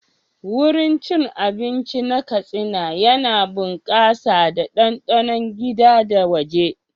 Wurin cin abinci na Katsina yana bunƙasa da ɗanɗanon gida da waje.